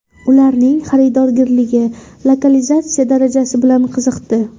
Ularning xaridorgirligi, lokalizatsiya darajasi bilan qiziqdi.